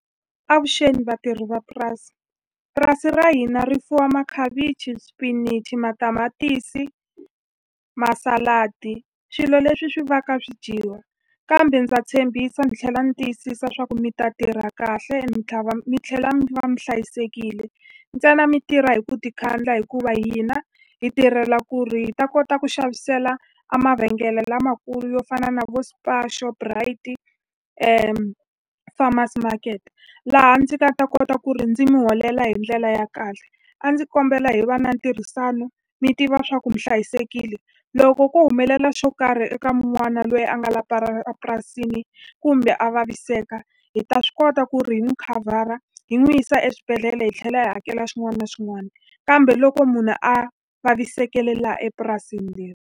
Avuxeni vatirhi va purasi. Purasi ra hina ri fuwa makhavichi, xipinichi, matamatisi, masaladi, swilo leswi swi va ka swi dyiwaka. Kambe ndza tshembisa ni tlhela ni tiyisisa leswaku mi ta tirha kahle mi tlhela mi va mi hlayisekile. Ntsena mi tirha hi ku tikhandla hikuva hina hi tirhela ku ri hi ta kota ku xavisela a mavhengele lamakulu yo fana na vo Spar, Shoprite-i Farmers Market, laha ndzi nga ta kota ku ri ndzi mi holela hi ndlela ya kahle. A ndzi kombela hi va na ntirhisano mi tiva leswaku mi hlayisekile. Loko ko humelela xo karhi eka un'wana loyi a nga la epurasini kumbe a vaviseka, hi ta swi kota ku ri hi n'wi khavhara hi n'wi yisa eswibedhlele. Hi tlhela hi hakela xin'wana na xin'wana. Kambe loko munhu a vavisekele laha epurasini leri.